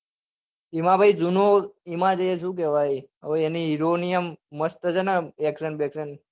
એમાં ભઈ જુનું એમાં જે શું કેવાય અવ એની hero ની અમ મસ્ટ સ ન action બેકસન. એકદમ